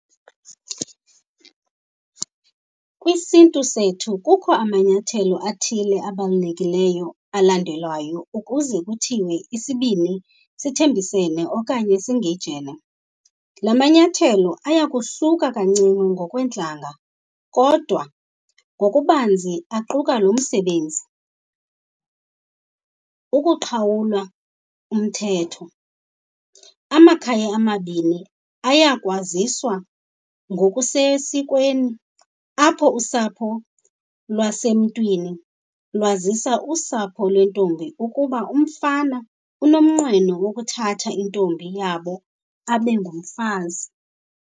KwisiNtu sethu kukho amanyathelo athile abalulekileyo alandelwayo ukuze kuthiwe isibini sithembisene okanye singejene. La manyathelo ayakuhluka kancinci ngokweentlanga kodwa ngokubanzi aquka lo msebenzi, ukuqhawula umthetho. Amakhaya amabini ayakwaziswa ngokusesikweni apho usapho lwasemtwini lwazisa usapho lwentombi, ukuba umfana unomnqweno wokuthatha intombi yabo abe ngumfazi.